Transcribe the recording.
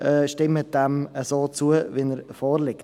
Stimmen Sie diesem so zu, wie er vorliegt.